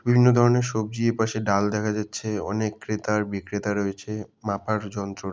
বিভিন্ন ধরনের সবজি। এপাশে ডাল দেখা যাচ্ছে। অনেক ক্রেতা আর বিক্রেতা রয়েছে। মাপার যন্ত্র র--